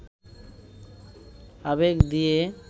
আবেগ দিয়ে